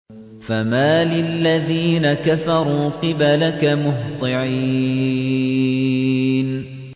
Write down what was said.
فَمَالِ الَّذِينَ كَفَرُوا قِبَلَكَ مُهْطِعِينَ